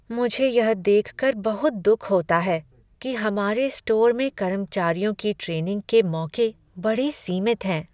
मुझे यह देख कर बहुत दुख होता है कि हमारे स्टोर में कर्मचारियों की ट्रेनिंग के मौके बड़े सीमित हैं।